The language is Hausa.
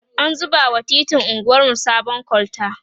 an zuba wa titin anguwarmu sabon kolta